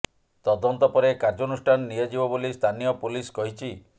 ତଦନ୍ତ ପରେ କାର୍ଯ୍ୟାନୁଷ୍ଠାନ ନିଆଯିବ ବୋଲି ସ୍ଥାନୀୟ ପୋଲିସ କହିଛି